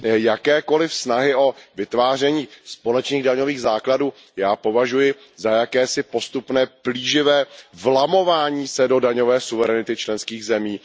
Jakékoliv snahy o vytváření společných daňových základů já považuji za jakési postupné, plíživé vlamování se do daňové suverenity členských zemí.